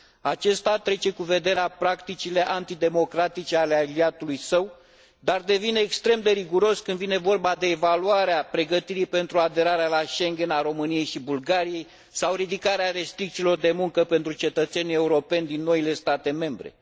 Aceasta trece cu vederea practicile antidemocratice ale aliatului său, dar devine extrem de riguros când vine vorba de evaluarea pregătirii pentru aderarea la Schengen a României și Bulgariei sau ridicarea restricțiilor de muncă pentru cetățenii europeni din noile state membre.